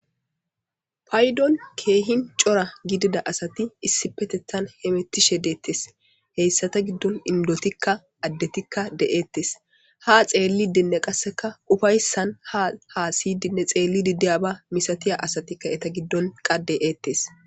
paydon keehin cora gidida asati issi petethan hemettishe deettes heyssata giddon indotikka addetikka de7eettes ha xeellidinne qasseka ufayssan ha haa siydinne xeelli didiya ba misatiya asati ka eta giddon qade eettes